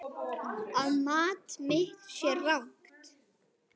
Að mat mitt sé rangt.